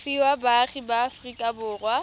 fiwa baagi ba aforika borwa